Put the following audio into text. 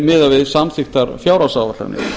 miðað við samþykktar fjárhagsáætlanir